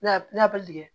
N'a bɛ